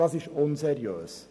Das ist unseriös.